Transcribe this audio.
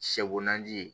Sɛ bo nanji ye